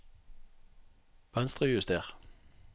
Venstrejuster